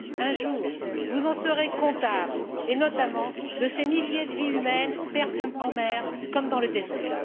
Un jour, vous en serez comptables et, notamment, de ces milliers de vies humaines perdues en mer comme dans le désert.